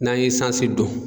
N'an ye sansi don.